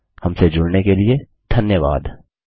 हमसे जुड़ने के लिए धन्यवाद